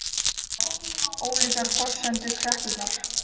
Ólíkar forsendur kreppunnar